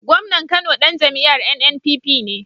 Gomnan Kano Dan jam'iyar NNPP ne